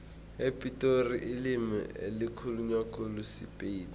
epitori ilimi elikhulunywa khulu sipedi